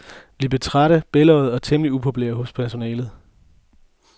Vi blev trætte, bælgøjede, og temmelig upopulære hos personalet.